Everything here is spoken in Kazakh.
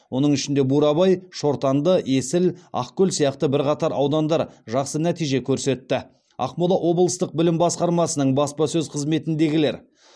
оның ішінде бурабай шортанды есіл ақкөл сияқты бірқатар аудандар жақсы нәтиже көрсетті ақмола облыстық білім басқармасының баспасөз қызметіндегілер